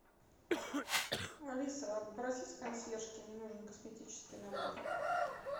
алиса обратись к консьержке мне нужен косметический набор